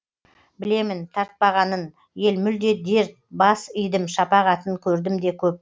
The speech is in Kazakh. білемін тартпағанын ел мүлде дерт бас идім шапағатын көрдім де көп